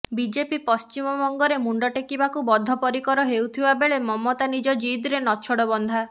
BJP ପଶ୍ଚିମବଙ୍ଗରେ ମୁଣ୍ଡଟେକିବାକୁ ବଦ୍ଧପରିକର ହେଉଥିବା ବେଳେ ମମତା ନିଜ ଜିଦରେ ନଛୋଡ଼ବନ୍ଧା